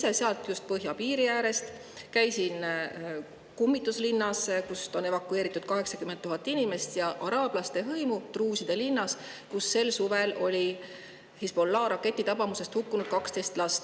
Tulin ise just sealt põhjapiiri äärest, käisin kummituslinnas, kust on evakueeritud 80 000 inimest, ja araabia druuside linnas, kus sel suvel hukkus Hezbollah' raketi tabamusest 12 last.